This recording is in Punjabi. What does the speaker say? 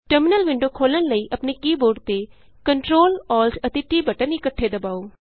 ਟਰਮਿਨਲ ਵਿੰਡੋ ਖੋਲ੍ਹਣ ਲਈ ਆਪਣੇ ਕੀ ਬੋਰਡ ਤੇ Ctrl Alt and T button ਇੱਕਠੇ ਦਬਾਉ